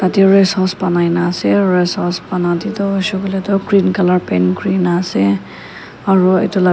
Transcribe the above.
te rest house banai na asey rest house bana deh du huishey kuileh du green colour paint kurigina asey aro etu la--